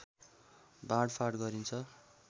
बाँडफाट गरिन्छ